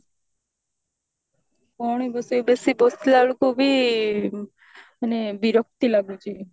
କଣ ବସିବୁ ବେଶୀ ବସିଲା ବେଳକୁ ବି ମାନେ ବିରକ୍ତି ଲାଗୁଛି